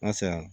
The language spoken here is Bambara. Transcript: N ka saya